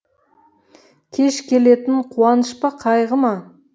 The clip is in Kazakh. кеш келетін қуаныш па қайғы ма